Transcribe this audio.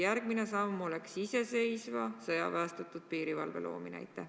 Kas järgmine samm peaks olema iseseisva sõjaväestatud piirivalve loomine?